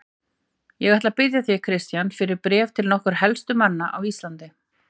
Ég ætla að biðja þig, Christian, fyrir bréf til nokkurra helstu manna á Íslandi.